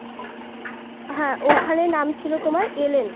হ্যাঁ ওখানে নাম ছিল তোমার এলেন